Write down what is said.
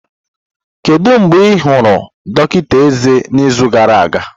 Kedu mgbe ị hụrụ dọkịta eze n'izu gara aga?